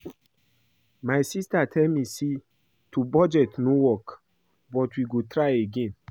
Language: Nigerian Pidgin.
My sister tell me say to budget no work but we go try again